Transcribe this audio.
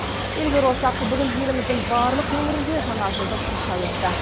елге оралсақ бүгін еліміздің барлық өңірінде жаңа жылдық шырша өтті